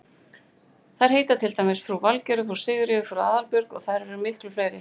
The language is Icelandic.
Þær heita til dæmis frú Valgerður, frú Sigríður, frú Aðalbjörg og þær eru miklu fleiri.